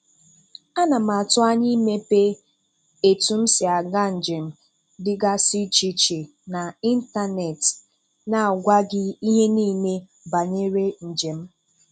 Ana m atụ anya imepe etu m si Aga njem dịgasị iche iche na ịntanetị na-agwa gị ihe niile banyer njem m